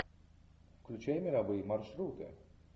включай мировые маршруты